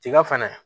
Tiga fɛnɛ